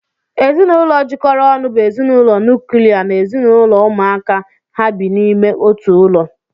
Ezinụlọ jikọrọ ọnụ bụ ezinụlọ nuklia na ezinụlọ ụmụaka ha bi n'ime otu ụlọ